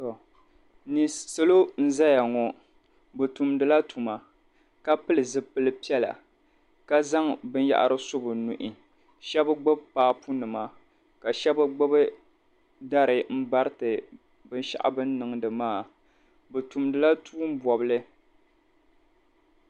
Salo n-zaya ŋɔ bɛ tumdila tuma ka pili zipil' piɛla ka zaŋ binyɛhari su bɛ nuhi shɛba gbibi paapunima ka shɛba gbibi dari m-bariti binshɛɣu bɛ ni niŋdi maa. Bɛ tumdila tuum' bɔbili.